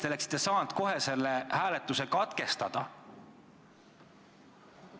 Te oleksite saanud kohe hääletuse katkestada.